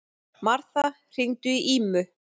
Martha, hringdu í Ímu.